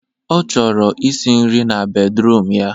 Ọ chọrọ isi nri na bedruum ya